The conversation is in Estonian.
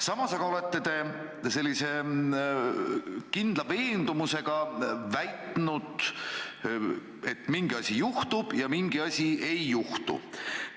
Samas olete kindla veendumusega väitnud, et mingi asi juhtub ja mingi asi ei juhtu.